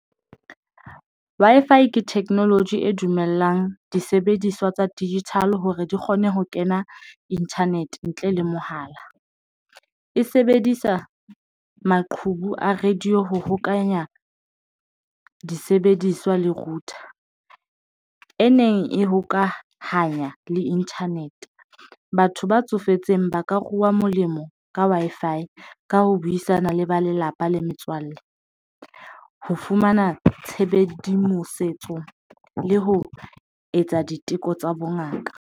Wi-Fi ke technology e dumellang disebediswa tsa digital hore di kgone ho kena internet ntle le mohala, e sebedisa maqhubu a radio ho hokanya disebediswa le router e neng e hokahanya le internet. Batho ba tsofetseng ba ka ruwa molemo ka Wi-Fi ka ho buisana le ba lelapa le metswalle ho fumana le ho etsa diteko tsa bongaka.